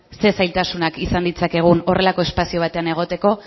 zer zailtasunak izan ditzakegun horrelako espazio batean egoteko